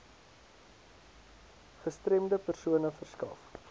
gestremde persone verskaf